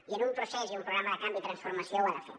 i un procés i un programa de canvi i transformació ho ha de fer